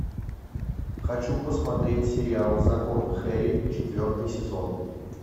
хочу посмотреть сериал закон хэрри четвертый сезон